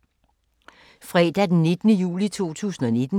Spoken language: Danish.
Fredag d. 19. juli 2019